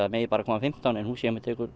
megi bara koma fimmtán en húsið hjá mér tekur